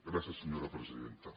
gràcies senyora presidenta